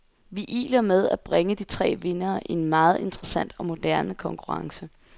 Vi iler med at bringe de tre vindere i en meget interessant og moderne konkurrence.